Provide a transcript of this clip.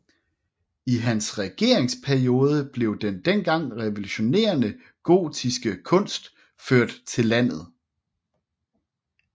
I hans regeringsperiode blev den dengang revolutionerende gotiske kunst ført til landet